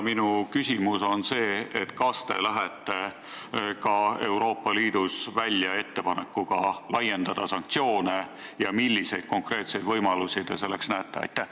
Minu küsimus on see: kas te lähete Euroopa Liidus välja ettepanekuga laiendada sanktsioone ja kui jah, siis milliseid konkreetseid võimalusi te selleks näete?